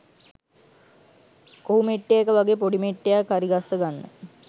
කොහු මෙට්ටයක වගේ පොඩි මෙට්ටයක් හරිගස්ස ගන්න